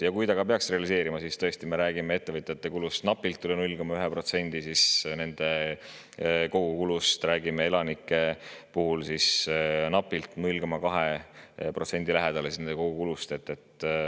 Ja kui see peakski realiseeruma, siis tõesti, me räägime ettevõtjate kulust napilt üle 0,1% nende kogukulust ja elanike puhul räägime ligi 0,2%‑st kogukulust.